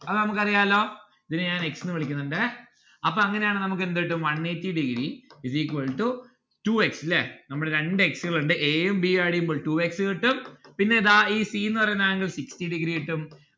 അത് നമ്മുക്ക് അറിയാലോ ഇതിനെ ഞാൻ x ന്നു വിളിക്കുന്നുണ്ടേ അപ്പൊ അങ്ങനെയാണേൽ നമ്മുക്ക് എന്ത് കിട്ടും one eighty degree is equal to two x ല്ലേ നമ്മൾ രണ്ട് x ഉകളുണ്ട് a ഉം b ഉം add എയ്യുമ്പോൾ two x കിട്ടും പിന്നെ ദാ ഈ c ന്ന്‌ പറയുന്ന angle sixty degree കിട്ടും